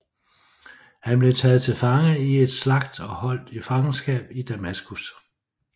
Han blev taget til fange i et slagt og holdt i fangenskab i Damaskus